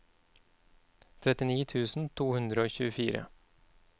trettini tusen to hundre og tjuefire